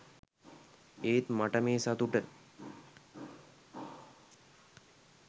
ඒත් මට මේ සතුට